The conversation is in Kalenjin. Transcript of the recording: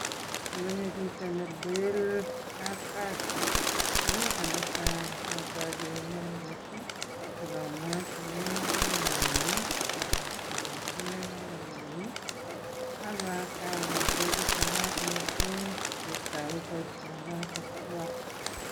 Ngonyo chito ne leel kapkazi ko kit netai otoche inendet ak amwochige kainenyun ak ateben ak inee kainenyin ak atach allenchi taachat mising ketou boisionoto twan.